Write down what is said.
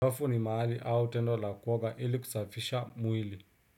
Wafu ni maali au tendo la kuoga ili kusafisha mwili.